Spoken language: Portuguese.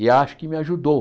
E acho que me ajudou.